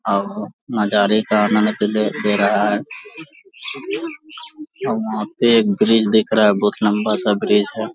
और नजारे का आनंद ले ले रहा है और वहां पे एक ब्रिज दिख रहा है बहुत लंबा सा ब्रिज है।